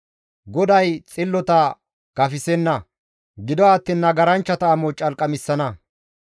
GODAY xillota gafisenna; gido attiin nagaranchchata amo calqamissana.